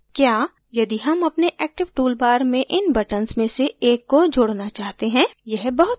क्या यदि हम अपने active toolbar में इन buttons में से एक को जोडना चाहते हैं यह बहुत आसान है